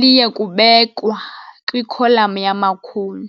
liye kubekwa kwikholam yamakhulu.